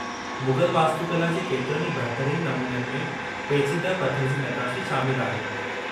मुग़ल वास्तुकला जे केतिरनि ई बहितरीन नमूननि में पेचीदह पथर जी नक़ाशी शामिलु आहे।